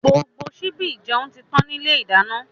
Gbogbo síbi ìjẹun títàn ni ilé ìdáná.